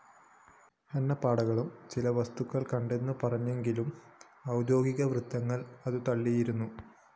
എണ്ണപ്പാടകളും ചില വസ്തുക്കളും കണ്ടെന്നു പറഞ്ഞെങ്കിലും ഔദ്യോഗികവൃത്തങ്ങള്‍ അതു തള്ളിയിരുന്നു